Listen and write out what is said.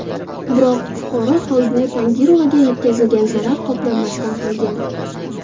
Biroq, fuqaro Xolbuvi Tangirovaga yetkazilgan zarar qoplanmasdan qolgan.